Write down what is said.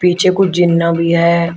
पीछे को जिन्ना भी है।